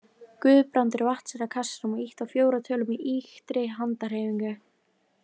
Guðbrandur vatt sér að kassanum og ýtti á fjórar tölur með ýktri handarhreyfingu.